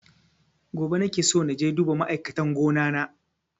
Gobe nake so naje duba ma'aikatan gona na